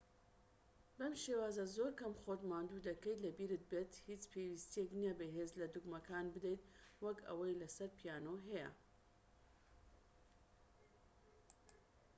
بەم شێوازە زۆر کەم خۆت ماندوو دەکەیت لەبیرت بێت هیچ پێویستیەک نیە بە هێز لە دوگمەکان بدەیت وەک ئەوەی لە سەر پیانۆ هەیە